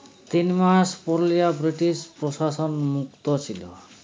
তিন মাস পুরুলিয়া ব্রিটিশ প্রশাসন মুক্ত ছিল